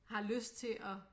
Har lyst til at